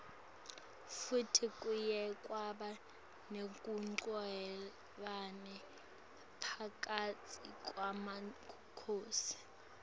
futsi kuye kwaba nekunqevani phakatsi kwemakhosi